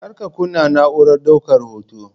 Kar ka kunna na'urar daukar hoton.